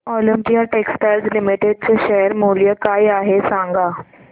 Olympia textiles limited चे share मूल्य काय आहे सांगा बरं